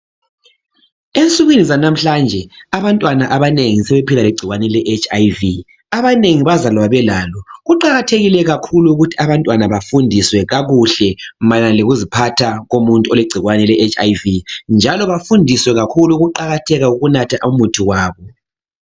Ensukwini zanamhlanje abantwana abanengi sebephila legcikwane leHIV.Abanengi bazalwa belalo kuqakathekile kakhulu ukuthi abantwana bafundiswe kakuhle mayelana lokuziphatha komuntu olegcikwane leHIV njalo bafundiswe kakhulu ukuqakatheka kokunatha umuthi wabo.